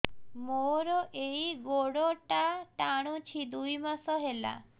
ମୋର ଏଇ ଗୋଡ଼ଟା ଟାଣୁଛି ଦୁଇ ମାସ ହେଲା